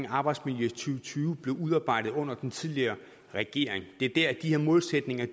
arbejdsmiljøet blev udarbejdet under den tidligere regering det var der de her målsætninger